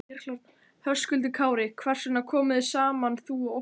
Höskuldur Kári: Hvers vegna komuð þið saman þú og Óttarr?